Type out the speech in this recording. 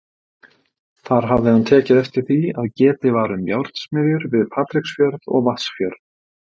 Þar hafði hann tekið eftir því, að getið var um járnsmiðjur við Patreksfjörð og Vatnsfjörð.